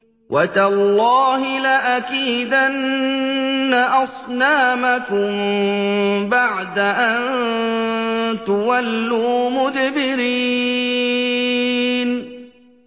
وَتَاللَّهِ لَأَكِيدَنَّ أَصْنَامَكُم بَعْدَ أَن تُوَلُّوا مُدْبِرِينَ